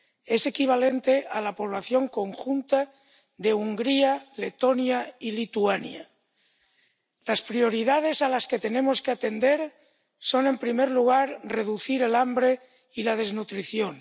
Es equivalente a la población conjunta de Hungría, Letonia y Lituania. Las prioridades que tenemos que atender son, en primer lugar, reducir el hambre y la desnutrición.